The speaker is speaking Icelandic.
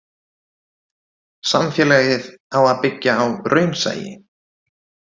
Samfélagið á að byggja á raunsæi.